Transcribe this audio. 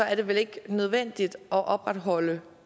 er det vel ikke nødvendigt at opretholde